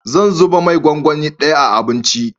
Zan zuba mai gwangwani daya a abinci